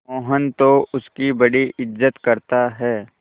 मोहन तो उसकी बड़ी इज्जत करता है